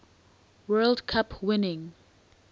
world cup winning